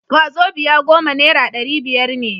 wazobia goma naira dari biyar ne